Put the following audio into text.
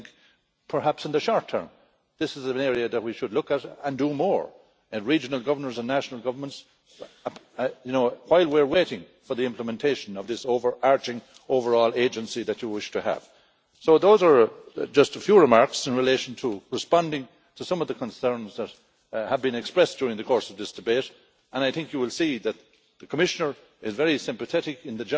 I think perhaps in the short term this is an area that we should look at and do more at the level of regional and national governments whilst we are waiting for the implementation of this over arching overall agency that you wish to have. So those are just a few remarks responding to some of the concerns that have been expressed during the course of this debate. I think you will see that the Commissioner is very sympathetic